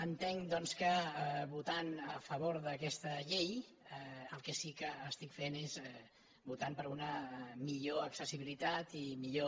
entenc doncs que votant a favor d’aquesta llei el que sí que estic fent és votant per una millor accessibilitat i millor